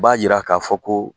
U b'a jira k'a fɔ ko